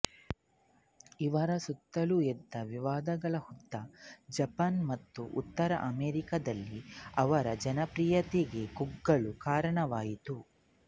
ಇವರ ಸುತ್ತಲೂ ಎದ್ದ ವಿವಾದಗಳ ಹುತ್ತ ಜಪಾನ್ ಮತ್ತು ಉತ್ತರ ಅಮೇರಿಕಾದಲ್ಲಿ ಅವರ ಜನಪ್ರಿಯತೆ ಕುಗ್ಗಲು ಕಾರಣವಾಯಿತು